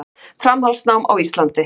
Framhaldsnám á Íslandi.